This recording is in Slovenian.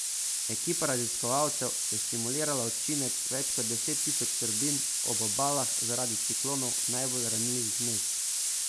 Ekipa raziskovalcev je simulirala učinek več deset tisoč turbin ob obalah zaradi ciklonov najbolj ranljivih mest.